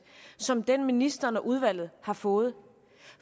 som den ministeren og udvalget har fået